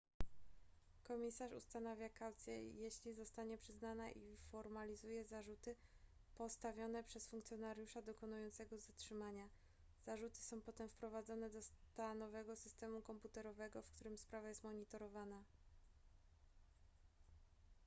komisarz ustanawia kaucję jeśli zostanie przyznana i formalizuje zarzuty postawione przez funkcjonariusza dokonującego zatrzymania zarzuty są potem wprowadzane do stanowego systemu komputerowego w którym sprawa jest monitorowana